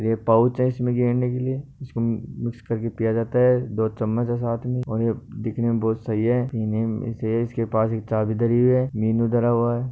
ये पोऊच है इसमें गेरने के लिए इसको मिक्स करके पीया जाता है दो चम्मच है साथ में और ये देखने में बहुत सही है इसके पास एक चाबी धरी है मीनु धरा हुवा है।